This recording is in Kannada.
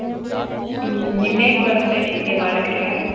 ಹ್ಮ್ ಇನ್ನೇನ್ ಬರತ್ತೆ ನಿನ್ಗೆ ಮಾಡಕ್ಕೆ?